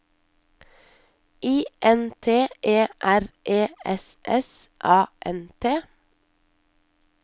I N T E R E S S A N T